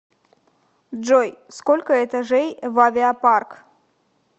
джой сколько этажей в авиапарк